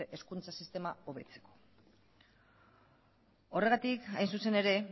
hezkuntza sistema hobetzeko horregatik hain zuzen ere